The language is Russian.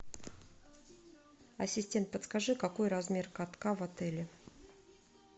ассистент подскажи какой размер катка в отеле